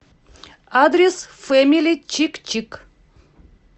адрес фэмили чик чик